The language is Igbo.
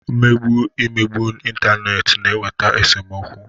Mmegbu, Imegbu n'intaneeti na-eweta esomokwu.